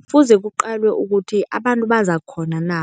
Kufuze kuqalwe ukuthi abantu bazakukghona na